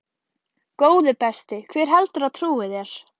Góði besti, hver heldurðu að trúi þér?